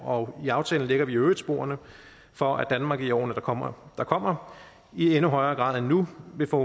og i aftalen lægger vi i øvrigt sporene for at danmark i årene der kommer der kommer i endnu højere grad end nu vil få